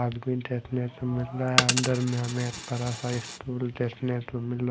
देखने को मिल रहा है अंदर में हमें एक बड़ा स्टूल देखने को मिल र--